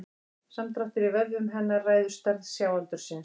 Samdráttur í vöðvum hennar ræður stærð sjáaldursins.